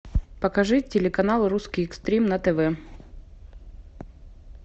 покажи телеканал русский экстрим на тв